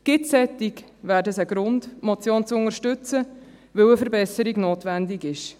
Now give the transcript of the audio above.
Gibt es solche, wäre das ein Grund, die Motion zu unterstützen, weil eine Verbesserung notwendig ist.